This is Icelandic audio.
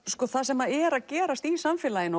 það sem er að gerast í samfélaginu